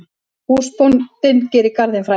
Húsbóndinn gerir garðinn frægan.